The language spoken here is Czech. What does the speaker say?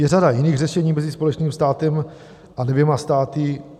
Je řada jiných řešení mezi společným státem a dvěma státy.